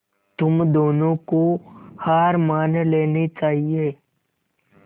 तुम दोनों को हार मान लेनी चाहियें